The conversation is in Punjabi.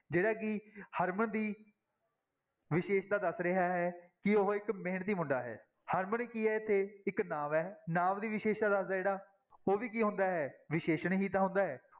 ਜਿਹੜਾ ਕਿ ਹਰਮਨ ਦੀ ਵਿਸ਼ੇਸ਼ਤਾ ਦੱਸ ਰਿਹਾ ਹੈ, ਕਿ ਉਹ ਇੱਕ ਮਿਹਨਤੀ ਮੁੰਡਾ ਹੈ ਹਰਮਨ ਕੀ ਹੈ ਇੱਥੇ ਇੱਕ ਨਾਂਵ ਹੈ, ਨਾਂਵ ਦੀ ਵਿਸ਼ੇਸ਼ਤਾ ਦੱਸਦਾ ਹੈ ਜਿਹੜਾ ਉਹ ਵੀ ਕੀ ਹੁੰਦਾ ਹੈ ਵਿਸ਼ੇਸ਼ਣ ਹੀ ਤਾਂ ਹੁੰਦਾ ਹੈ।